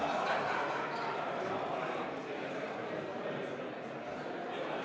Aitäh, head kolleegid!